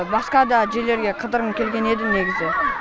басқа да жерлерге қыдырғым келген еді негізі